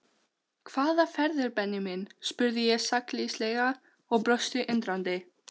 Hvaða ferðir Benni minn? spurði ég sakleysislega og brosti undrandi.